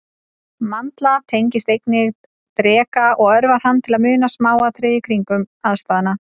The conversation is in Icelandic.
Mandla tengist einnig dreka og örvar hann til að muna smáatriði kringumstæðna.